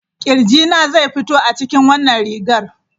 Kirjina zai fito a cikin wannan rigar.